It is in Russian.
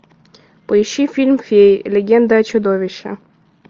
поищи фильм феи легенда о чудовище